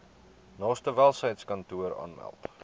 naaste welsynskantoor aanmeld